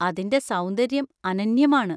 അതിന്‍റെ സൗന്ദര്യം അനന്യമാണ്.